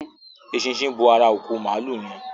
Eṣinṣin bò àrà òkú Maalu yén.